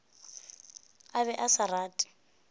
a be a sa rate